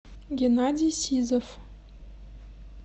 геннадий сизов